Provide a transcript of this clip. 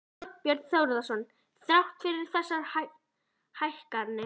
Þorbjörn Þórðarson: Þrátt fyrir þessar hækkanir?